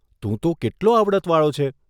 તું તો કેટલો આવડતવાળો છે.